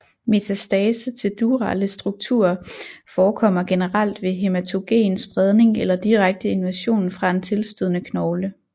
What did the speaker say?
Metastase til durale strukturer forekommer generelt ved hæmatogen spredning eller direkte invasion fra en tilstødende knogle